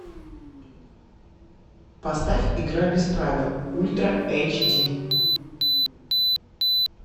поставь игра без правил ультра эйч ди